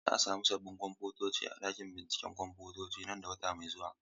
Za a sami sabbin kwamfutoci a cikin ɗakin binciken kwamfuta nan da wata mai zuwa.